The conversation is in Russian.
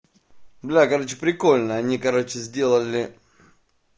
бля короче прикольно они короче сделали